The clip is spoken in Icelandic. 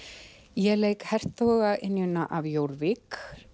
ég leik hertogaynjuna af Jórvík